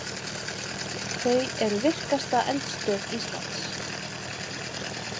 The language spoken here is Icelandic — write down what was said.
Þau eru virkasta eldstöð Íslands.